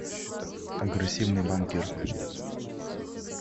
агрессивный банкир